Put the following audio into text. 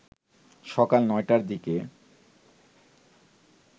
সকাল ৯টার দিকে